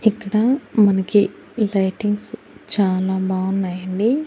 ఇక్కడ మనకి లైటింగ్స్ చానా బావున్నాయండి.